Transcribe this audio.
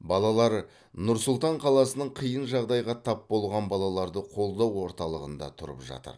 балалар нұр сұлтан қаласының қиын жағдайға тап болған балаларды қолдау орталығында тұрып жатыр